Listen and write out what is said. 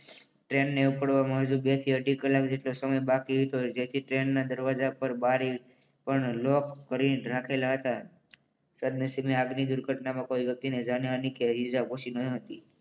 Train ને ઉપાડવામાં હજુ બે થી અઢી કલાક જેટલો સમય બાકી હતો જેથી ટ્રેનના દરવાજા પર બારી પણ લોક કર્યા લખેલા હતા. સદનસીબે આગની દુર્ઘટનામાં કોઈ વ્યક્તિને જાનહાની કે ઈજા પહોંચી ન હતી.